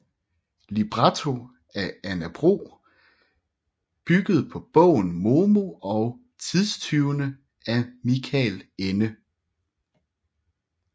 Libretto af Anna Bro bygget på bogen Momo og tidstyvene af Michael Ende